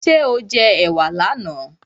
Ṣé o jẹ ẹ̀wà là na?